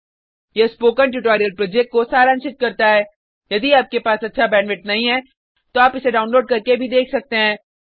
यह spoken tutorial project को सारांशित करता है यदि आपके पास अच्छा बैंडविड्थ नहीं है तो आप इसको डाउनलोड करने और देख सकते हैं